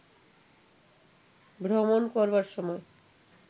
ভ্রমণ করবার সময়